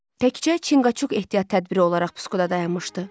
Təkcə Çinqaçuk ehtiyat tədbiri olaraq puskuda dayanmışdı.